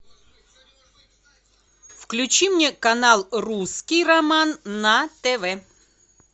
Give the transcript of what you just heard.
включи мне канал русский роман на тв